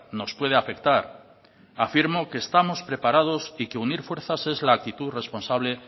nos puede afectar afirmo que estamos preparados y que unir fuerzas es la actitud responsable